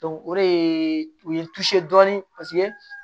o de ye u ye dɔɔnin paseke